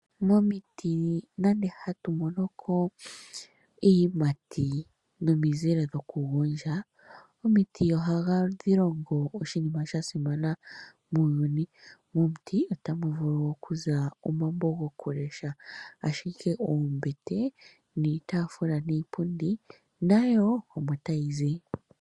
Momiti nande hatu mono ko iiyimati nomizile dhokugondja, momiti ohadhi longo oshilonga sha simana muuyuni. Momiti otamu vulu okuza omambo gokulesha, ashike oombete niitafula niipundi nayo omo tayi zi.